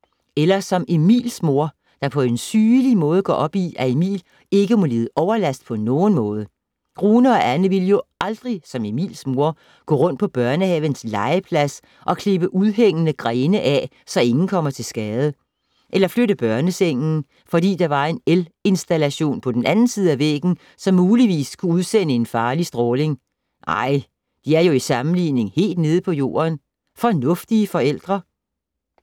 Eller som Emils mor, der på en sygelig måde går op i, at Emil ikke må lide overlast på nogen måde. Rune og Anne ville jo aldrig, som Emils mor, gå rundt på børnehavens legeplads og klippe udhængende grene af, så ingen kommer til skade. Eller flytte børnesengen fordi der var en elinstallation på den anden side af væggen, som muligvis kunne udsende farlig stråling. Nej, de er jo i sammenligning helt nede på jorden, fornuftige forældre!